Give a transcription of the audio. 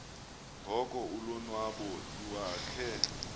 ngoko ulonwabo iwakhe